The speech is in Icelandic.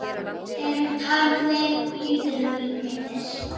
Þeir eru taldir lítið meiddir.